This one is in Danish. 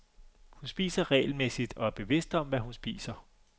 Hun spiser regelmæssigt og er bevidst om, hvad hun spiser.